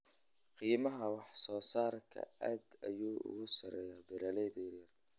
Qiimaha wax-soo-saarku aad ayuu ugu sarreeyaa beeralayda yaryar.